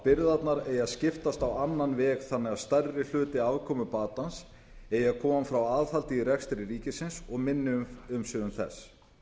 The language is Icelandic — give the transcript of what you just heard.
byrðarnar eigi að skiptast á annan veg þannig að stærri hluti afkomubatans eigi að koma frá aðhaldi í rekstri ríkisins og minni umsvifum þess